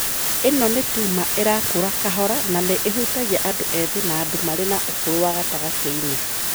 ĩno nĩ tumor ĩrakũra kahora na nĩ ĩhutagia andũ ethĩ na andũ marĩ na ũkũrũ wa gatagatĩ-inĩ.